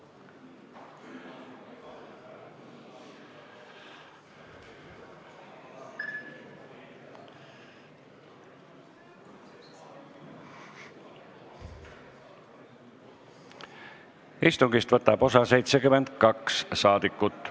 Kohaloleku kontroll Istungist võtab osa 72 saadikut.